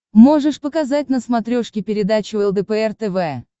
можешь показать на смотрешке передачу лдпр тв